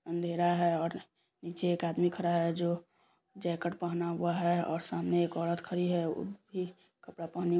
अंधेरा है और नीचे एक आदमी खड़ा है जो जैकेट पहना हुआ है और सामने एक औऱत खड़ी है ऊ भी कपड़ा पहनी--